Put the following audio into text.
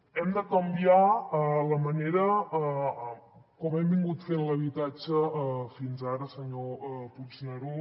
hem de canviar la manera com hem fet l’habitatge fins ara senyor puigneró